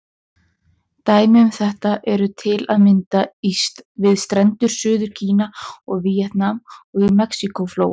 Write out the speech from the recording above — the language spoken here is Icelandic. Dæmi um þetta eru til að mynda við strendur Suður-Kína og Víetnam, og í Mexíkó-flóa.